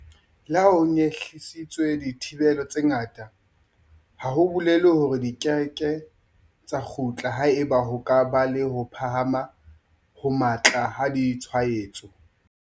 Le ha ho nyehlisitswe dithibelo tse ngata, ha ho bolele hore di keke tsa kgutla haeba ho ka ba le ho phahama ho matla ha ditshwaetso.